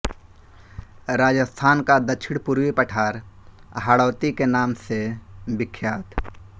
राजस्थान का दक्षिणपूर्वी पठार हाड़ौती के नाम से विख्यात